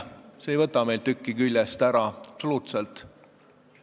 See ei võta meilt tükki küljest, absoluutselt.